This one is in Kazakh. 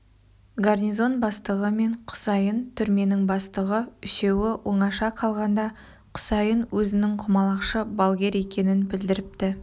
гарнизон бастығы мен құсайын түрменің бастығы үшеуі оңаша қалғанда құсайын өзінің құмалақшы балгер екенін білдіріпті